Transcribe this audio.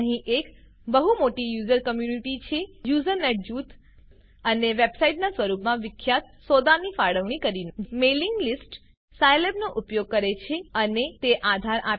અહીં એક બહુ મોટી યુઝર કમ્યુનીટી છે યુઝનેટ જૂથ અને વેબસાઈટના સ્વરૂપમાં વિખ્યાત સોદાની ફાળવણી કરીને મેઇલિંગ લીસ્ટ સાયલેબનો ઉપયોગ કરે છે અને તેને આધાર આપે છે